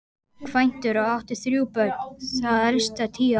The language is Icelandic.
Kvæntur og átti þrjú börn, það elsta tíu ára.